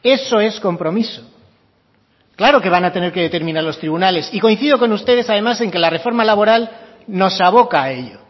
eso es compromiso claro que van a tener que determinar los tribunales y coincido con ustedes además en que la reforma laboral nos aboca a ello